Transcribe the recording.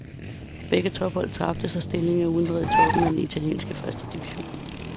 Begge tophold tabte, så stillingen er uændret i toppen af den italienske første division.